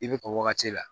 I bɛ ka wagati la